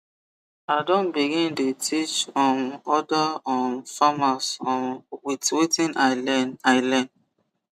i don begin dey teach um other um farmers um with wetin i learn i learn